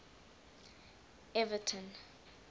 everton